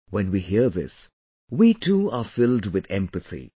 When we hear this, we too are filled with empathy